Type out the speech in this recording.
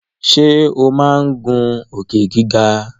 Ṣe o má ngun Òkè-gíga.